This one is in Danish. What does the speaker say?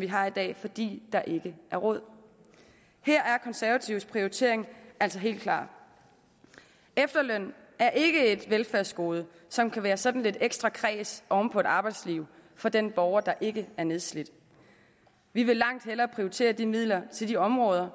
vi har i dag fordi der ikke er råd her er konservatives prioritering altså helt klar efterløn er ikke et velfærdsgode som kan være sådan lidt ekstra kræs oven på et arbejdsliv for den borger der ikke er nedslidt vi vil langt hellere prioritere de midler til de områder